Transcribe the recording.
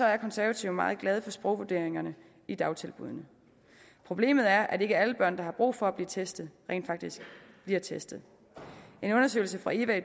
er konservative meget glade for sprogvurderingerne i dagtilbuddene problemet er at ikke alle børn der har brug for at blive testet rent faktisk bliver testet en undersøgelse fra eva i